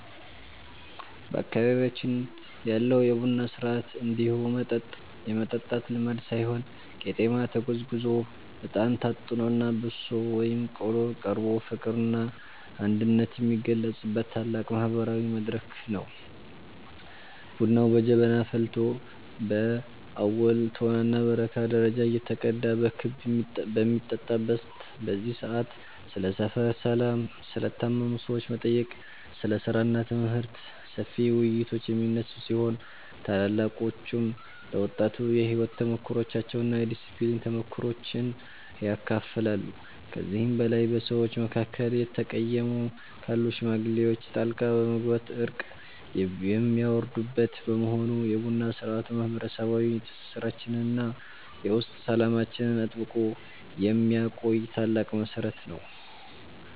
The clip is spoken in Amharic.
በአካባቢያችን ያለው የቡና ሥርዓት እንዲሁ መጠጥ የመጠጣት ልማድ ሳይሆን ቄጤማ ተጎዝጉዞ፣ እጣን ታጥኖና በሶ ወይም ቆሎ ቀርቦ ፍቅርና አንድነት የሚገለጽበት ታላቅ ማህበራዊ መድረክ ነው። ቡናው በጀበና ፈልቶ በአቦል፣ ቶናና በረካ ደረጃ እየተቀዳ በክብ በሚጠጣበት በዚህ ሰዓት፣ ስለ ሰፈር ሰላም፣ ስለ ታመሙ ሰዎች መጠየቅ፣ ስለ ሥራና ትምህርት ሰፊ ውይይቶች የሚነሱ ሲሆን፣ ታላላቆችም ለወጣቱ የሕይወት ተሞክሯቸውንና የዲስፕሊን ምክሮችን ያካፍላሉ። ከዚህም በላይ በሰዎች መካከል የተቀየሙ ካሉ ሽማግሌዎች ጣልቃ በመግባት እርቅ የሚያወርዱበት በመሆኑ፣ የቡና ሥርዓቱ ማህበረሰባዊ ትስስራችንንና የውስጥ ሰላማችንን አጥብቆ የሚያቆይ ታላቅ መሠረት ነው።